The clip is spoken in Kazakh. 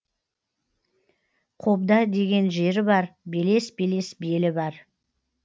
қобда деген жері бар белес белес белі бар